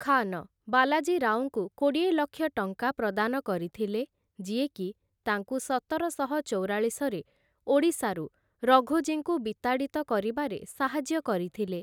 ଖାନ, ବାଲାଜୀ ରାଓଙ୍କୁ କୋଡ଼ିଏ ଲକ୍ଷ ଟଙ୍କା ପ୍ରଦାନ କରିଥିଲେ, ଯିଏକି ତାଙ୍କୁ ସତରଶହ ଚଉରାଳିଶରେ ଓଡ଼ିଶାରୁ ରଘୋଜୀଙ୍କୁ ବିତାଡ଼ିତ କରିବାରେ ସାହାଯ୍ୟ କରିଥିଲେ ।